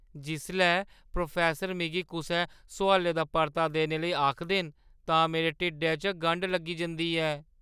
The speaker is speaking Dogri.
जिसलै प्रोफैस्सर मिगी कुसै सोआलै दा परता देने लेई आखदे न तां मेरे ढिड्ढै च गंढ लग्गी जंदी ऐ।